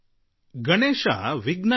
Ganesha ವಿಘ್ನನಿವಾರಕ